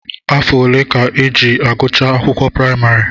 Afọ ole ka e ji agụcha akwụkwọ praịmarị?